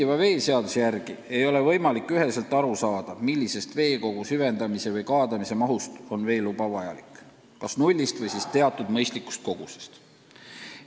Praeguse seaduse järgi ei ole võimalik üheselt aru saada, alates millisest veekogu süvendamise või kaadamise mahust on veeluba vajalik, kas nullist või siis teatud mõistlikust kogusest.